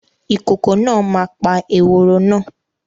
Ìkokò náà ma pa eworo náà